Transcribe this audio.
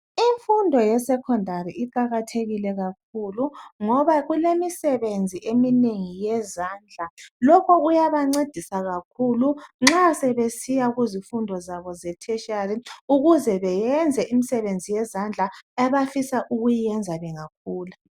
Imfundo yesekhondari iqakathekile kakhulu ngoba kulemisebenzi eminengi yezandla. Lokho kuyabancedisa kakhulu nxa sebesiya kuzifundo zabo ze tertiary ukuze beyenze imsebenzi yezandla abafisa ukuyiyenza bengakhula.